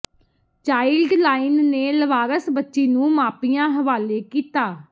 child line ਨੇ ਲਾਵਾਰਸ ਬੱਚੀ ਨੂੰ ਮਾਪਿਆਂ ਹਵਾਲੇ ਕੀਤਾ